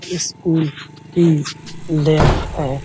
इस स्कूल की है।